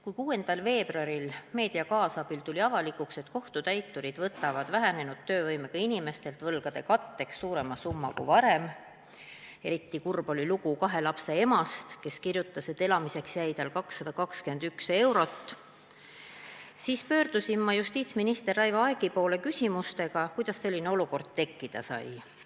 Kui 6. veebruaril tuli meedia kaasabil avalikuks, et kohtutäiturid võtavad vähenenud töövõimega inimestelt võlgade katteks suurema summa kui varem – eriti kurb oli lugu kahe lapse emast, kes kirjutas, et elamiseks jäi tal 221 eurot –, siis pöördusin ma justiitsminister Raivo Aegi poole küsimusega, kuidas selline olukord tekkida sai.